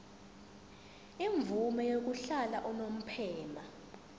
imvume yokuhlala unomphema